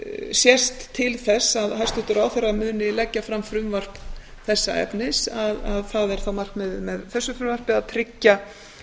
sést til þess að hæstvirtur ráðherra muni leggja fram frumvarp þessa efnis að það er þá markmiðið með þessu frumvarpi að tryggja